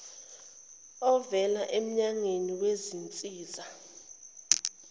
ovela emnyango wezinsiza